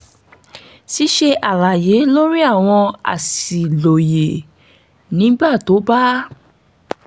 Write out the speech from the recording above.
ṣíṣe àlàyé lórí àwọn àṣìlóye nígbà tó bá